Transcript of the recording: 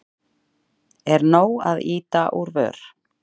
Er nóg að ýta úr vör?